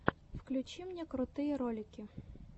включи мне крутые ролики